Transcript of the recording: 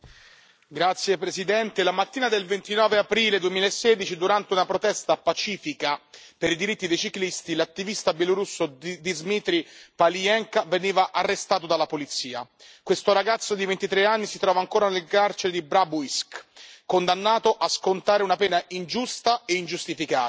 Signor Presidente, onorevoli colleghi, la mattina del 29 aprile 2016, durante una protesta pacifica per i diritti dei ciclisti, l'attivista bielorusso Dzmitry Paliyenka veniva arrestato dalla polizia. Questo ragazzo di 23 anni si trova ancora nel carcere di Babrujsk, condannato a scontare una pena ingiusta e ingiustificata.